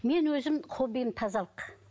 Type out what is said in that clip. мен өзім хоббиім тазалық